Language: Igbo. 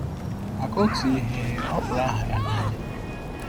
Maka otu ihe, ọ kpọrọ aha ya n’anya.